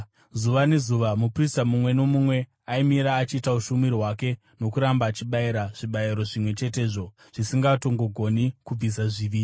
Zuva nezuva muprista mumwe nomumwe aimira achiita ushumiri hwake nokuramba achibayira zvibayiro zvimwe chetezvo, zvisingatongogoni kubvisa zvivi.